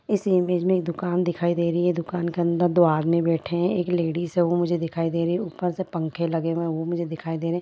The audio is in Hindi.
इस इमेज में एक दुकान दिखाई दे रही है| दुकान के अंदर दो आदमी बैठे हैं। एक लेडिस है वो मुझे दिखाई दे रही है। ऊपर से पंखे लगे हुए हैं वो मुझे दिखाई दे रहे हैं।